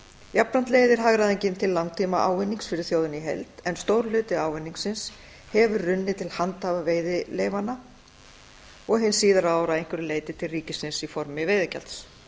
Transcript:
jafnframt leiðir hagræðingin til langtíma ávinnings fyrir þjóðina í heild en stór hluti ávinningsins hefur runnið til handhafa veiðileyfanna og hin síðari ár að einhverju leyti til ríkisins í formi veiðigjalds